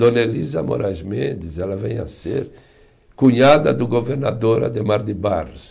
Dona Elisa Moraes Mendes, ela vem a ser cunhada do governador Ademar de Barros.